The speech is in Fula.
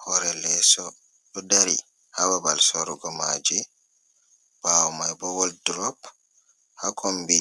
Hoore leeso ɗo dari, haa babal sorugo maaje. Ɓaawo may bo, wol durop haa kombi